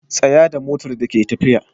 Tsaya da motar da ke tafiya.